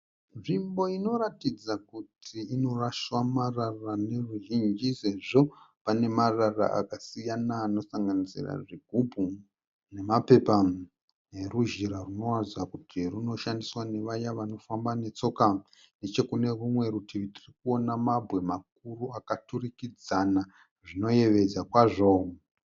Nzvimbo inoratidza kuti inoraswa marara neveruzhinji sezvo pane marara akasiyana anosanganisira zvigumbu nemapepa neruzhira runoratidza kuti runoshandiswa nevaya vanofamba netsoka. Nechekune rimwe rutivi tirikuona mabwe makuru akaturikidzana zvinoyevedza kwazvo.